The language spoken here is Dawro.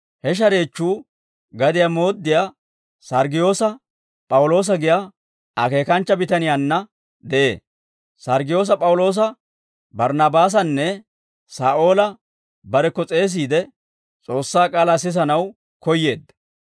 He shareechchuu gadiyaa mooddiyaa Sarggiyoosa P'awuloosa giyaa akeekanchcha bitaniyaanna de'ee. Sarggiyoosa P'awuloosa Barnnaabaasanne Saa'oola barekko s'eesiide, S'oossaa k'aalaa sisanaw koyyeedda.